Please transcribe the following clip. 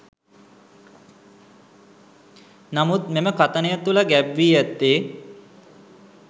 නමුත් මෙම කථනය තුළ ගැබ් වී ඇත්තේ